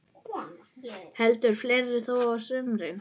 Heldur fleira þó á sumrin.